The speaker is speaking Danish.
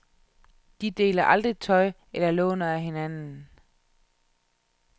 De deler aldrig tøj eller låner af hinanden.